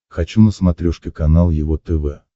хочу на смотрешке канал его тв